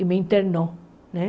E me internou, né?